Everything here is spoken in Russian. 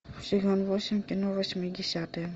сезон восемь кино восьмидесятые